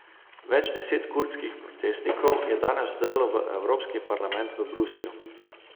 Več deset kurdskih protestnikov je danes vdrlo v Evropski parlament v Bruslju.